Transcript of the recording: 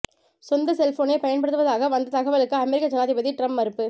சொந்த செல்போனை பயன்படுத்துவதாக வந்த தகவலுக்கு அமெரிக்க ஜனாதிபதி டிரம்ப் மறுப்பு